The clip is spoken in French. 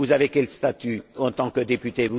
Vous avez quel statut en tant que député?